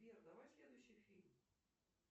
сбер давай следующий фильм